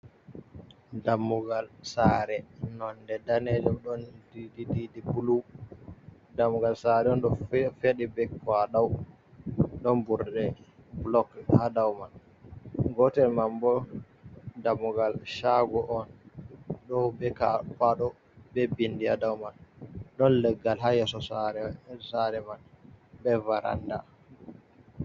Dammugal sare nonde ɗanejum ɗon didi didi blu, dammugal sare on ɗo feɗi be kwaɗau ɗon ɓurɗe blog ha dau man, gotel man bo dammugal shago on ɗo ɓe kwaɗo be bindi ha dau man, ɗon leggal ha yeso sare man be varanda.